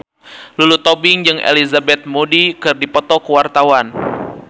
Lulu Tobing jeung Elizabeth Moody keur dipoto ku wartawan